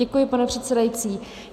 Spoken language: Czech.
Děkuji, pane předsedající.